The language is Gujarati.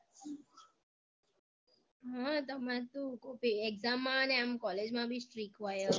હમ તમાર તો કોક exam માં અને આમ college માં બી strick હોય અ